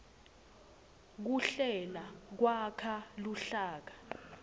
kuhlela kwakha luhlaka